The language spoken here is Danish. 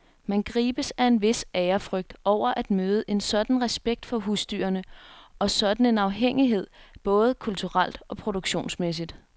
Man gribes af en vis ærefrygt over at møde en sådan respekt for husdyrene, og sådan en afhængighed både kulturelt og produktionsmæssigt.